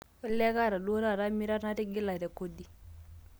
olly kaata duo taata mirat natigila rekodi